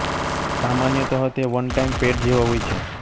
સામાન્યતઃ તે one time paid જેવા હોય છે